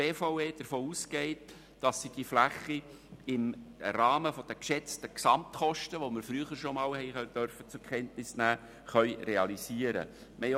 Die BVE geht davon aus, dass sie die Fläche im Rahmen der geschätzten Gesamtkosten, die wir früher schon einmal zur Kenntnis nehmen durften, realisieren kann.